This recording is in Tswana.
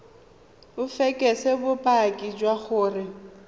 o fekese bopaki jwa gore